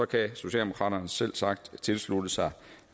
kan socialdemokraterne selvsagt tilslutte sig